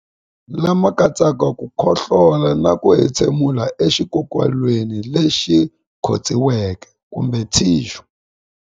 Lama katsaka ku khohlola na ku entshemulela exikokolweni lexi khotsiweke kumbe thixu.